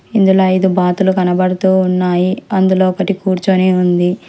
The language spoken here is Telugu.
ఇందులో ఐదు బాతులు కనబడుతూ ఉన్నాయి అందులో ఒకటి కూర్చొని ఉంది.